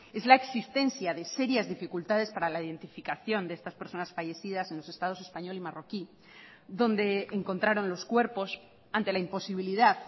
es la existencia de serias dificultades para la identificación de estas personas fallecidas en los estados español y marroquí donde encontraron los cuerpos ante la imposibilidad